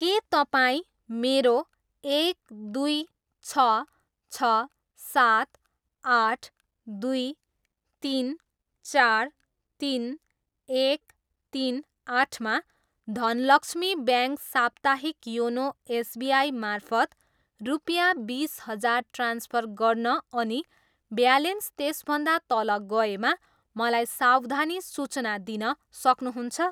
के तपाईँ मेरो एक, दुई, छ, छ, सात, आठ, दुई, तिन, चार, तिन, एक, तिन, आठमा धनलक्ष्मी ब्याङ्क साप्ताहिक योनो एसबिआई मार्फत रुपियाँ बिस हजार ट्रान्सफर गर्न अनि ब्यालेन्स त्यसभन्दा तल गएमा मलाई सावधानी सूचना दिन सक्नुहुन्छ?